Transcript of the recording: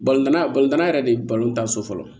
yɛrɛ de ye tan so fɔlɔ